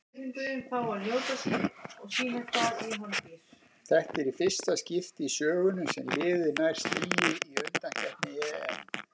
Þetta er fyrsta í skipti í sögunni sem liðið nær stigi í undankeppni EM.